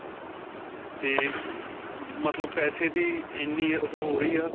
'ਤੇ ਅਅ ਮਤਲਬ ਪੈਸੇ ਦੀ ਇੰਨੀ ਓਹ ਹੋ ਰਹੀ ਹਾ.